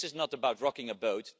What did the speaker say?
This is not about rocking a boat